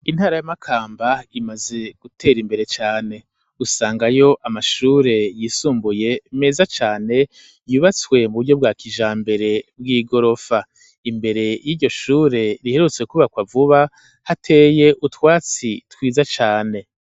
intara y'amakamba imaze gutera imbere cane usanga yo amashure yisumbuye meza cane yubatswe mu buryo bwa kijambere bw'igorofa imbere y'iryoshure riherutse kubakwa vuba hateye utwatsi twiza cane.